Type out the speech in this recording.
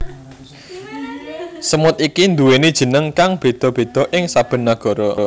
Semut iki nduweni jeneng kang beda beda ing saben nagara